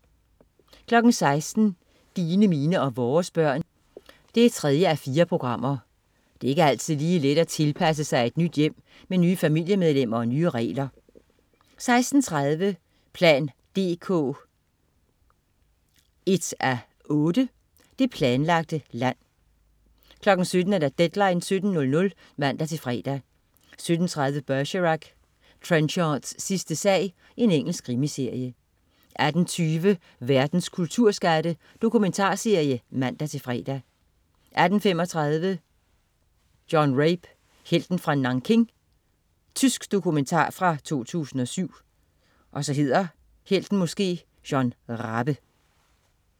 16.00 Dine, mine og vores børn 3:4. Det er ikke altid lige let at tilpasse sig et nyt hjem med nye familiemedlemmer og nye regler 16.30 plan dk 1:8. Det planlagte land 17.00 Deadline 17.00 (man-fre) 17.30 Bergerac: Trenchards sidste sag. Engelsk krimiserie 18.20 Verdens kulturskatte. Dokumentarserie (man-fre) 18.35 John Rabe, helten fra Nanking. Tysk dokumentar fra 2007